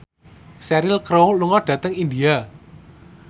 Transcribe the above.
Cheryl Crow lunga dhateng India